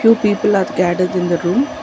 few people are gathered in the room.